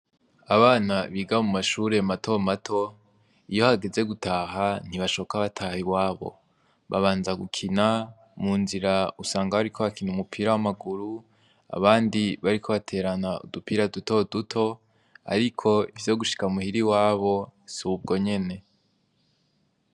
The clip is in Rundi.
Abana biga mu mashure mato mato iyo hageze gutaha ntibashoka bataha i wabo, babanza gukina mu nzira usanga bariko bakina umupira w'amaguru abandi bariko baterana udupira duto duto, ariko ivyo gushika muhira i wabo si ubwo nyene.